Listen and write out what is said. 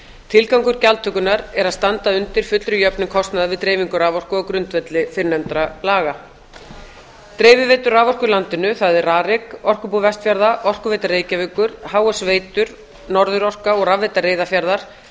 til gangur gjaldtökunnar er að standa undir fullri jöfnun kostnaðar við dreifingu raforku á grundvelli fyrrnefndra laga dreifiveitur raforku í landinu það er rarik orkubú vestfjarða orkuveita reykjavíkur h s veitur norðurorka og rafveita reyðarfjarðar